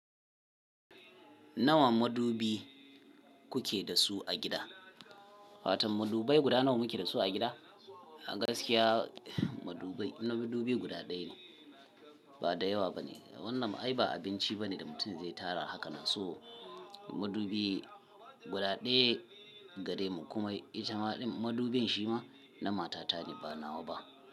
Nawa madubi kuke da su a gida? Fatan madubai guda nawa muke da su a gida? A gaskiya madubi, madubi guda ɗaya ne, ba da yawa bane. Wannan ai ba abinci bane da mutum zai tara haka nan so madubi guda ɗaya gare mu kuma itama din madubin shi ma na matata ne ba nawa ba.